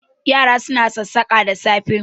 Yara suna sassaƙa da safe